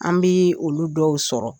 An bi olu dɔw sɔrɔ.